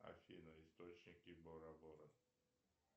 афина источники бора бора